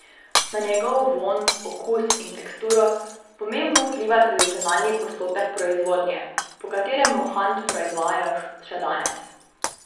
Na njegov vonj, okus in teksturo pomembno vpliva tradicionalni postopek proizvodnje, po katerem mohant proizvajajo še danes.